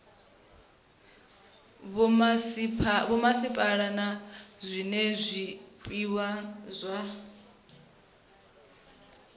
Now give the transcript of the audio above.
vhomasipala na zwiwe zwipia zwa